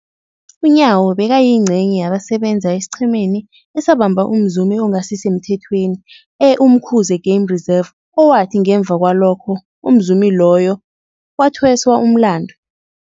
UNyawo bekayingcenye yabasebenza esiqhemeni esabamba umzumi ongasisemthethweni e-Umkhuze Game Reserve, owathi ngemva kwalokho umzumi loyo wathweswa umlandu.